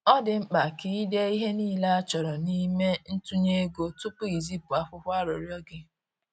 Ọ dị mkpa ka i dee ihe niile a chọrọ n’ime ntụnye ego tupu i zipụ akwụkwọ arịrịọ gị.